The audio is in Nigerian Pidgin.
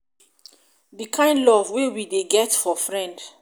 di kind of love wey we we de get for friend